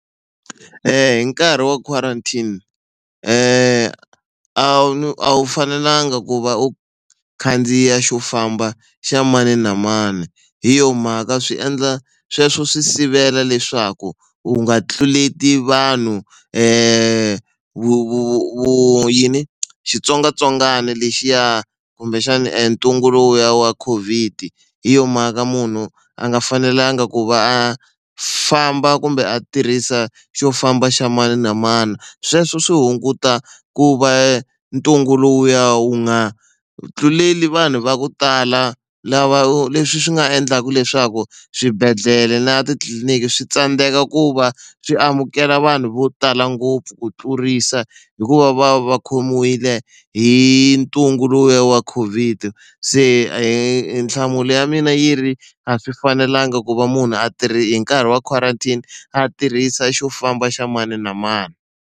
Hi karhi wa quarantine a a wu fanelanga ku va u khandziya xo famba xa mani na mani hi yo mhaka swi endla sweswo swi sivela leswaku u nga tluleti vanhu vu vu vu yini xitsongwatsongwana lexiya kumbexana e ntungu lowuya wa COVID hi yo mhaka munhu a nga fanelanga ku va a famba kumbe a tirhisa xo famba xa mani na mani. Sweswo swi hunguta ku va ntungu lowuya wu nga tluleli vanhu va ku tala lava leswi swi nga endlaka leswaku swibedhlele na titliliniki swi tsandzeka ku va swi amukela vanhu vo tala ngopfu ku tlurisa hikuva va khomiwile hi ntungu lowuya wa COVID se hi nhlamulo ya mina yi ri a swi fanelanga ku va munhu a hi nkarhi wa quarantine a tirhisa xo famba xa mani na mani.